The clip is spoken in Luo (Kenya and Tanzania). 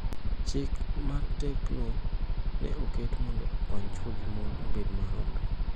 Chik matekno ne oket mondo okony chwo gi mon obed maromre.